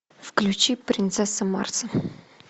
включи принцесса марса